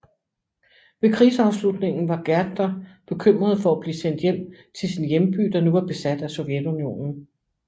Ved krigsafslutningen var Gärtner bekymret for at blive sendt hjem til sin hjemby der nu var besat af Sovjetunionen